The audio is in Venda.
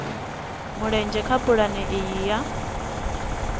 mulenzhe kha pulane iyi ya